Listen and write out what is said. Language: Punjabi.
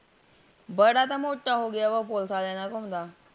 ਬੜਾ ਤਾ ਮੋਟਾ ਹੋਂਗੀਆ ਵਾਹ police ਵਾਲਿਆ ਨਾਲ ਘੁਮਦਾ